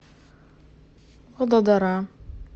вадодара